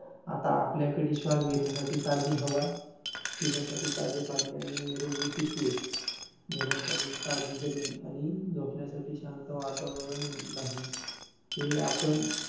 आता आपल्याकडे श्वास घेण्यासाठी ताजी हवा, पिण्यासाठी ताजे पाणी आणि निरोगी पिके घेण्यासाठी ताजी जमीन आणि झोपण्यासाठी शांत वातावरण नाही. हे आपण.